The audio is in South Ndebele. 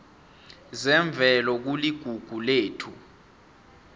zemvelo kuligugu lethu